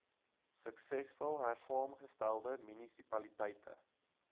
suksesvol hersaamgestelde munisipaliteite